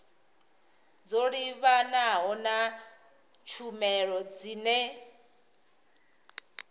dzo livhanaho na tshumelo dzine